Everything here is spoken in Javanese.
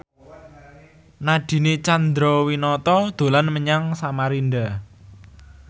Nadine Chandrawinata dolan menyang Samarinda